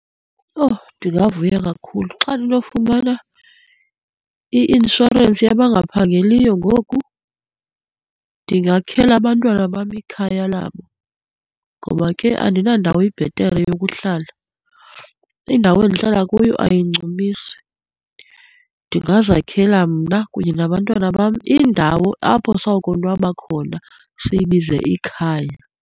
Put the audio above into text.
Owu! Ndingavuya kakhulu xa ndinofumana i-inshorensi yabangaphangeliyo ngoku, ndingakhela abantwana bam ikhaya labo ngoba ke andinandawo ibhetere yokuhlala. Indawo endihlala kuyo ayincumisi. Ndingazakhela mna kunye nabantwana bam indawo apho sawukonwaba khona, siyibize ikhaya.